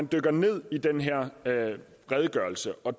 dykker ned i den her redegørelse og